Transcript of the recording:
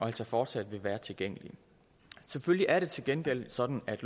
altså fortsat være tilgængelige selvfølgelig er det til gengæld sådan at